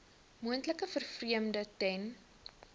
moontlike vervreemding ten